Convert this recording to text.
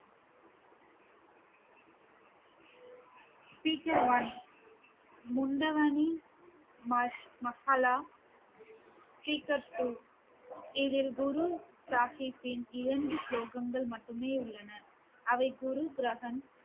speaker one speaker two இதில் குரு சாஹிப்பின் இரண்டு ஸ்லோகங்கள் மட்டுமே உள்ளன அதை குரு கிரஹந்த்